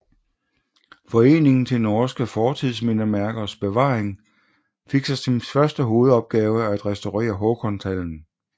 Foreningen til norske Fortidsmindesmerkers Bevaring fik som sin første hovedopgave at restaurere Håkonshallen